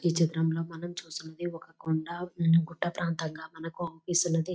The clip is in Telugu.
ఈ చిత్రంలో మనం చూస్తూ ఉన్నది ఒక కొండ. ఊ గుట్ట ప్రాంతంగా మనకు అగుపిస్తుంది.